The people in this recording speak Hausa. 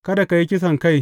Kada ka yi kisankai.